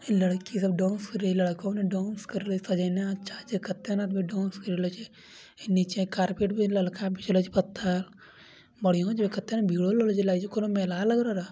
लड़की सब डांस करे लड़का सब डांस करे सजेना अच्छा छै कते आदमी ने डांस कर रहल छै ई नीचे कारपेट भी ललका बिछेला छै कउनो मेला लाग रहल।